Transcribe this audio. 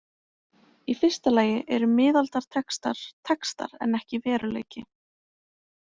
Í fyrsta lagi eru miðaldatextar textar en ekki veruleiki.